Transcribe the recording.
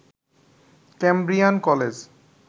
Cambrian college